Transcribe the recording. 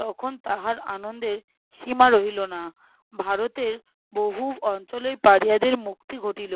তখন তাহার আনন্দের সীমা রহিল না। ভারতের বহু অঞ্চলের পাড়িয়াদের মুক্তি ঘটিল।